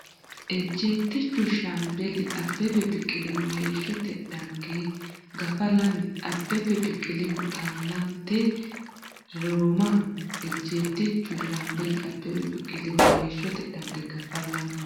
Ejjeettichu Shaambeli Abbebe Biqilihu heeshshote dhagge Gafa Lame Abbebe Biqilihu Xaaleenete Roomaho Ejjeettichu Shaambeli Abbebe Biqilihu heeshshote dhagge Gafa Lame.